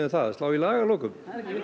að slá í lag að lokum